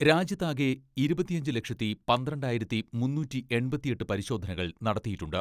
രാജ്യത്ത് ആകെ ഇരുപത്തിയഞ്ച് ലക്ഷത്തി പന്ത്രണ്ടായിരത്തി മുന്നൂറ്റി എൺപത്തിയെട്ട് പരിശോധനകൾ നടത്തിയിട്ടുണ്ട്.